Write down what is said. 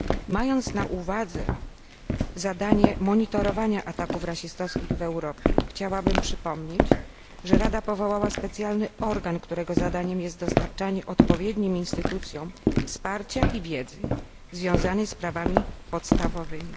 Mając na uwadze zadanie monitorowania ataków rasistowskich w Europie, chciałabym przypomnieć, że Rada powołała specjalny organ, którego zadaniem jest dostarczanie odpowiednim instytucjom wsparcia i wiedzy związanej z prawami podstawowymi.